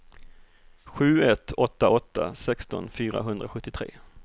sju ett åtta åtta sexton fyrahundrasjuttiotre